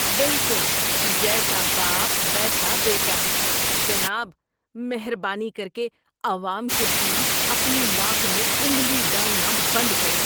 بالکل جیسا باپ، ویسا بیٹا۔ جناب، مہربانی کر کے عوام کے بیچ اپنی ناک میں انگلی ڈالنا بند کریں۔